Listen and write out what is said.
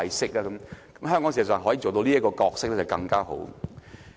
事實上，如香港可以做到這個角色，便會更好。